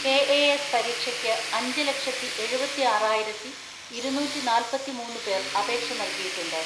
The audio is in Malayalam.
കെ എ എസ് പരീക്ഷയ്ക്ക് അഞ്ച്ലക്ഷത്തിഎഴുപത്തിആറായിരത്തിഇരുന്നൂറ്റിനാല്പത്തിമൂന്ന് പേർ അപേക്ഷ നൽകിയിട്ടുണ്ട്.